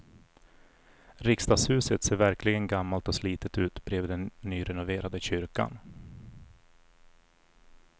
Riksdagshuset ser verkligen gammalt och slitet ut bredvid den nyrenoverade kyrkan.